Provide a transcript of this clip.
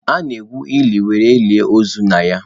A na-egwu ili were lie ozu na ya.